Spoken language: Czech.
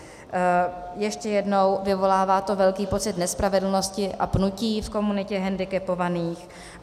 Ještě jednou, vyvolává to velký pocit nespravedlnosti a pnutí v komunitě hendikepovaných.